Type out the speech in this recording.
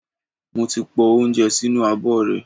Mo ti po oúnjẹ sínú abọ́ rẹ̀.